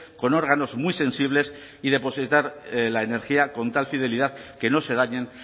con órganos muy sensibles y depositar la energía con tal fidelidad que no se dañan